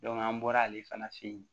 an bɔra ale fana fɛ yen